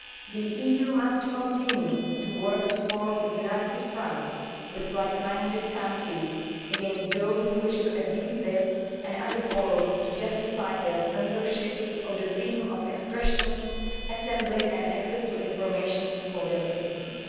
The EU must continue to work to form a united front with like minded countries against those which wish to abuse this and other forums to justify their censorship of freedom of expression, assembly and access to information for their citizens.